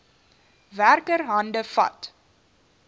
werker hande vat